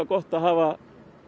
gott að hafa